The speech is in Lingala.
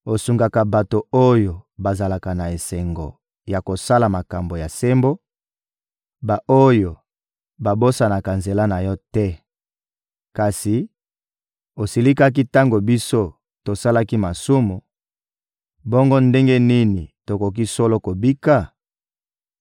Osungaka bato oyo bazalaka na esengo ya kosala makambo ya sembo, ba-oyo babosanaka nzela na Yo te. Kasi osilikaki tango biso tosalaki masumu; bongo ndenge nini tokoki solo kobika?